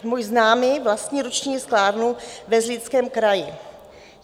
Můj známý vlastní ruční sklárnu ve Zlínském kraji.